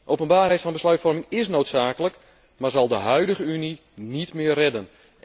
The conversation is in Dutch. Openbaarheid van besluitvorming is noodzakelijk, maar zal de huidige Unie niet meer redden.